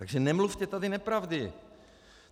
Takže nemluvte tady nepravdy.